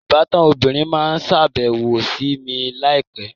Ìbátan obìnrin máa sàbẹ̀wò sì mi láì pẹ́